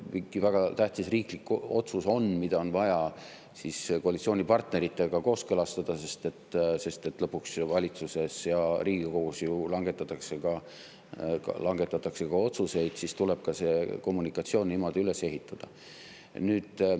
Ja kui on mingi väga tähtis riiklik otsus, mida on vaja koalitsioonipartneritega kooskõlastada – lõpuks ju valitsuses ja Riigikogus langetatakse ka otsuseid –, siis tuleb kommunikatsioon niimoodi üles ehitada.